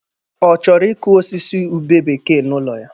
Ọ chọrọ ịkụ osisi ube bekee n'ụlọ ya?